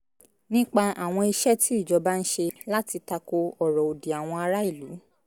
nípa àwọn iṣẹ́ tí ìjọba ń ṣe láti tako ọ̀rọ̀ òdì àwọn ará-ìlú